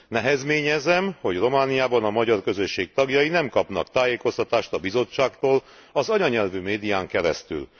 Nehezményezem, hogy Romániában a magyar közösség tagjai nem kapnak tájékoztatást a Bizottságtól az anyanyelvi médián keresztül.